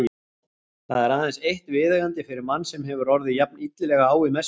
Það er aðeins eitt viðeigandi fyrir mann sem hefur orðið jafn illilega á í messunni.